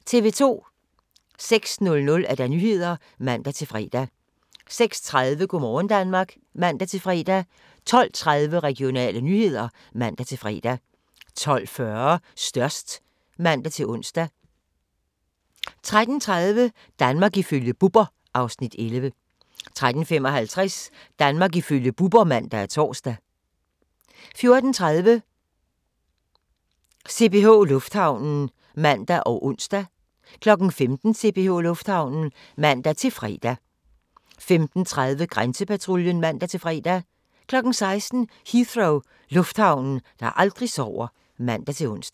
06:00: Nyhederne (man-fre) 06:30: Go' morgen Danmark (man-fre) 12:30: Regionale nyheder (man-fre) 12:40: Størst (man-ons) 13:30: Danmark ifølge Bubber (Afs. 11) 13:55: Danmark ifølge Bubber (man og tor) 14:30: CPH Lufthavnen (man og ons) 15:00: CPH Lufthavnen (man-fre) 15:30: Grænsepatruljen (man-fre) 16:00: Heathrow - lufthavnen, der aldrig sover (man-ons)